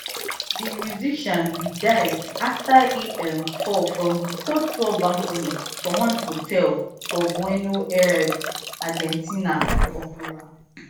di musician bin die afta e um fall from di third floor balcony for one hotel for bueno aires argentina for october